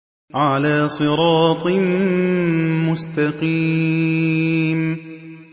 عَلَىٰ صِرَاطٍ مُّسْتَقِيمٍ